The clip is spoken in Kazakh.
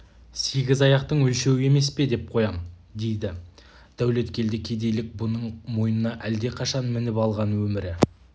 сегіз аяқтың өлшеуі емес пе деп қоям дейді дәулеткелді кедейлік бұның мойнына әлдеқашан мініп алған өмірі